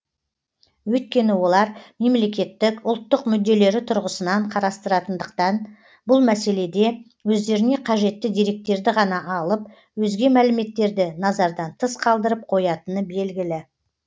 өйткені олар мемлекеттік ұлттық мүдделері тұрғысынан қарастыратындықтан бұл мәселеде өздеріне қажетті деректерді ғана алып өзге мәліметтерді назардан тыс қалдырып қоятыны белгілі